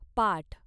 पाठ